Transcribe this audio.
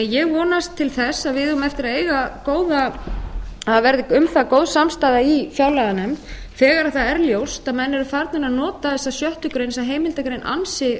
ég vonast til þess að við eigum eftir að eiga góða annað verði um það góð samstaða í fjárlaganefnd þegar það er ljóst að menn eru farnir að nota þessa sjöttu grein þessa heimildargrein ansi